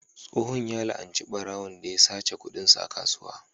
Tsohon ya la'anci ɓarawon da ya sace kudinsa a kasuwa.